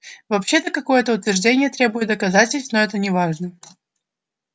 вообще-то какое-то утверждение требует доказательств но это неважно